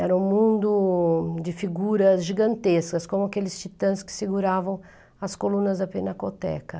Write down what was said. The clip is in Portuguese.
Era um mundo de figuras gigantescas, como aqueles titãs que seguravam as colunas da Pinacoteca.